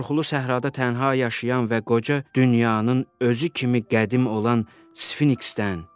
Qorxulu Səhrada tənha yaşayan və qoca dünyanın özü kimi qədim olan Sfinksdən.